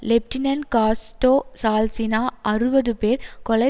lieutenant காஸ்டோ சால்சினா அறுபது பேர் கொலை